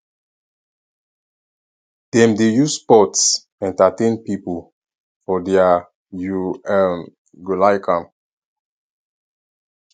dem dey use sports entertain pipo for their you um go like am